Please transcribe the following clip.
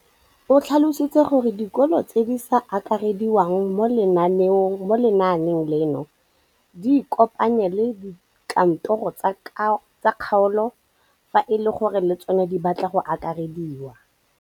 O tlhalositse gore dikolo tse di sa akarediwang mo lenaaneng leno di ikopanye le dikantoro tsa kgaolo fa e le gore le tsona di batla go akarediwa.